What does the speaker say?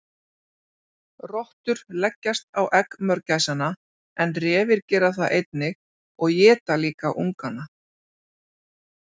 Rottur leggjast á egg mörgæsanna en refir gera það einnig og éta líka ungana.